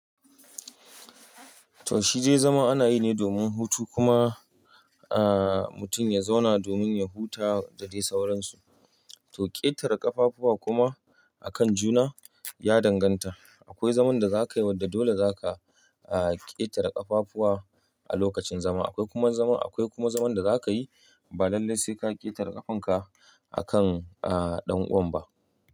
To shi dai zama ana yi ne domin hutu kuma, ah, mutum ya zauna domin ya huta da dai sauransu. To ƙetare ƙafafuwa kuma akan juna ya danganta. Akwai zaman da za ka yi wadda dole za ka, ah, ƙetare ƙafafuwa a lokacin zama. Akwai kuma zaman, akwai kuma zaman da za ka yi ba lallai sai ka ƙetare ƙafanka akan, ah, ɗan uwanba.